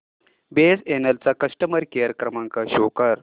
BSNL चा customer care क्रमांक show कर